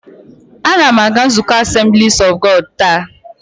A na m aga nzukọ Assemblies of God taa